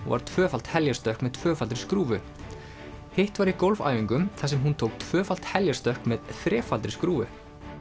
var tvöfalt heljarstökk með tvöfaldri skrúfu hitt var í gólfæfingum þar sem hún tók tvöfalt heljarstökk með þrefaldri skrúfu